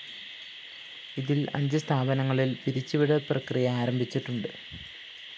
ഇതില്‍ അഞ്ച് സ്ഥാപനങ്ങളില്‍ പിരിച്ചുവിടല്‍ പ്രക്രിയ ആരംഭിച്ചിട്ടുണ്ട്